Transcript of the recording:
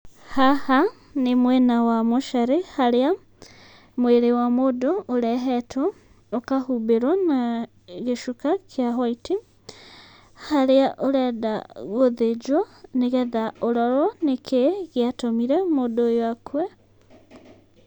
Haha nĩ mwena wa mocarĩ, harĩa mwĩrĩ wa mũndũ ũrehetwo, ũkahumbĩrwo na gĩcuka kĩa hwaiti. Harĩa ũrenda gũthĩnjwo, nĩgetha ũrorwo nĩkĩĩ gĩatũmire mũndũ ũyũ akue.